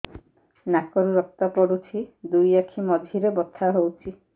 ନାକରୁ ରକ୍ତ ପଡୁଛି ଦୁଇ ଆଖି ମଝିରେ ବଥା ହଉଚି